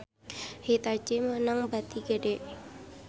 Hitachi meunang bati gede